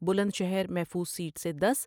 بلند شہرمحفوظ سیٹ سے دس ۔